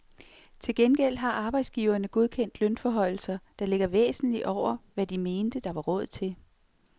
Til gengæld har arbejdsgiverne godkendt lønforhøjelser, der ligger væsentligt over, hvad de mente, der var råd til.